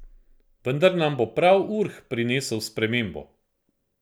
Vendar nam bo prav Urh prinesel spremembo.